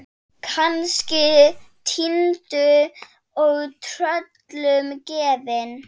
Kannski týndur og tröllum gefinn.